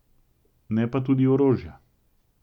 Ne pa tudi orožja.